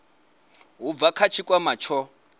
u bva kha tshikwama tsho